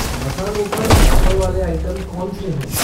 मसालों पर ऑफ़र वाले आइटम कौन से हैं?